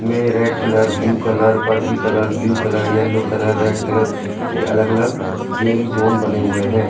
मे red colour blue colour purple colour blue colour yellow colour red colour के अलग अलग game zone बने हुए हैं।